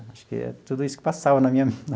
Acho que é tudo isso que passava na minha.